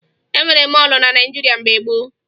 E nweghi mọọlụ na Naịjirịa mgbe gboo